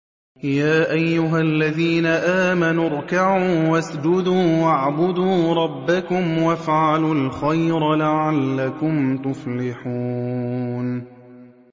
يَا أَيُّهَا الَّذِينَ آمَنُوا ارْكَعُوا وَاسْجُدُوا وَاعْبُدُوا رَبَّكُمْ وَافْعَلُوا الْخَيْرَ لَعَلَّكُمْ تُفْلِحُونَ ۩